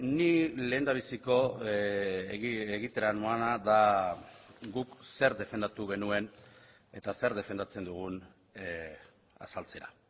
ni lehendabiziko egitera noana da guk zer defendatu genuen eta zer defendatzen dugun azaltzera